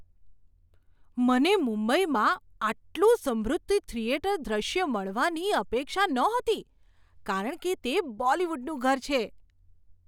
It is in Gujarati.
મને મુંબઈમાં આટલું સમૃદ્ધ થિયેટર દૃશ્ય મળવાની અપેક્ષા નહોતી કારણ કે તે બોલિવૂડનું ઘર છે.